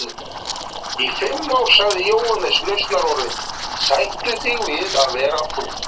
Í fimm ár sagði Jóhannes lausnarorðin: Sættu þig við að vera þú.